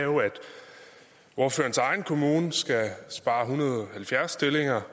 ordførerens egen kommune skal spare en hundrede og halvfjerds stillinger